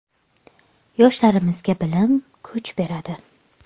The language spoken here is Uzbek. Yoshlarimizga bilim, kuch beradi.